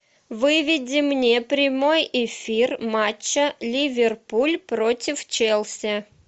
выведи мне прямой эфир матча ливерпуль против челси